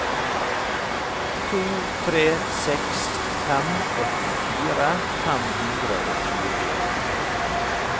to tre seks fem åttifire fem hundre og tjueen